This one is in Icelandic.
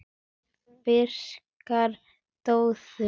Ferskar döðlur